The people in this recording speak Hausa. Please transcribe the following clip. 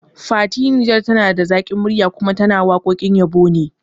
Fati Niger tana da zaƙin murya kuma tana waƙoƙin yabo ne